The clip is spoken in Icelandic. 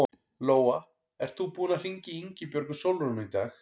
Lóa: Ert þú búinn að hringja í Ingibjörgu Sólrúnu í dag?